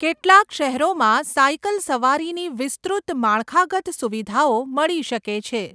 કેટલાક શહેરોમાં સાયકલ સવારીની વિસ્તૃત માળખાગત સુવિધાઓ મળી શકે છે.